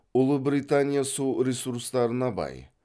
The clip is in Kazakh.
ұлыбритания су ресурстарына бай